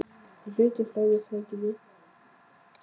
Ég á hluti í fleiri fyrirtækjum, misjafnlega mikið þó.